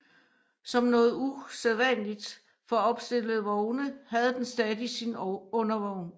Som noget usædvanligt for opstillede vogne havde den stadig sin undervogn